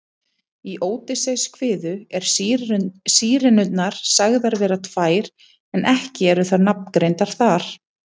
Í Ódysseifskviðu eru Sírenurnar sagðar vera tvær en ekki eru þær nafngreindar þar.